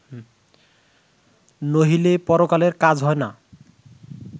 নহিলে পরকালের কাজ হয় না